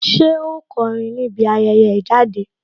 Ṣé ó kọrin níbi ayẹyẹ ìjáde